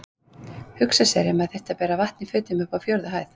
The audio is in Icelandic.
Hugsa sér ef maður þyrfti að bera vatn í fötum upp á fjórðu hæð!